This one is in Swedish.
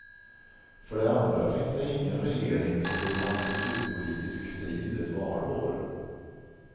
För det andra finns det ingen regering som vill ha en kulturpolitisk strid ett valår.